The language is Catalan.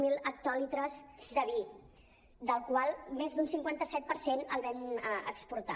zero hectolitres de vi dels quals més d’un cinquanta set per cent el vam exportar